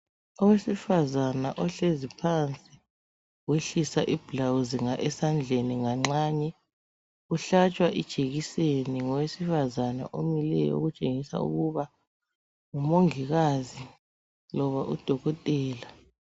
Owesfazana ohlezi phansi wehlisa iblawuzi esandleni nganxanye. Uhlatshwa ijekiseni ngowesifazana omileyo okutshengisa ukuba ngumongikazi loba udokotela.